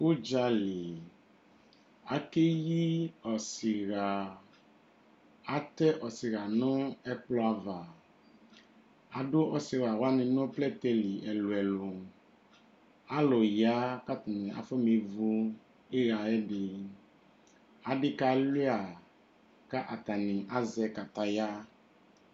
Uɗza li akeyi ɔsi ɣa Atɛ ɔsi ɣa nu ɛkplɔ ava Aɗu ɔsi ɣa wani nu plɛtɛ li ɛluɛlu Alu ya katni afɔ nevu ɩɣa yɛ ɗini Aɗi kaluia kata ni azɛ kataya